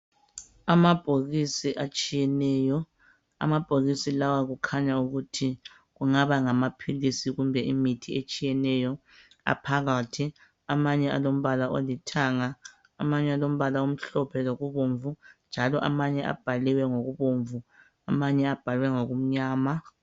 Amabhokisi atshiyeneyo. Amabhokisi lawa kukhanya ukuthi kungaba ngamaphilisi kumbe imithi etshiyeneyo, aphakathi. Amanye alombala olithanga, amanye alombala omhlophe lokubomvu, njalo amanye abhaliwe ngokubomvu, amanye abhalwe ngokumnyama.